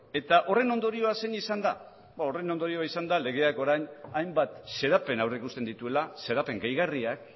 etahorren ondorioa zein izan da ba horren ondorioa izan da legeak orain hainbat xedapen aurrikusten dituela xedapen gehigarriak